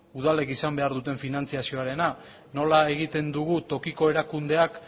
udal legeek izan behar duten finantziazioarena nola egiten dugu tokiko erakundeak